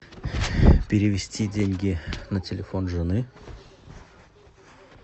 перевести деньги на телефон жены